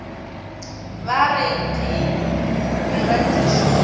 ba re ke meratišo ye